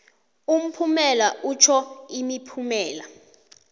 umphumela itjho imiphumela